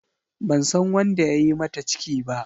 Ban san wanda ya yi mata ciki ba.